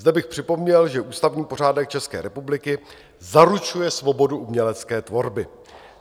Zde bych připomněl, že ústavní pořádek České republiky zaručuje svobodu umělecké tvorby.